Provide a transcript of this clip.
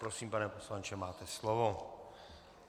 Prosím, pane poslanče, máte slovo.